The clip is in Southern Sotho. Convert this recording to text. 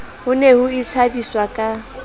ho ne ho ithabiswa ka